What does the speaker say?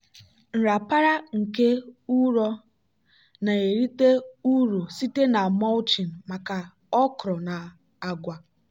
nrapara nke ụrọ na-erite uru site na mulching maka okra na agwa.